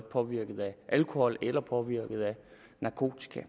påvirket af alkohol eller påvirket af narkotika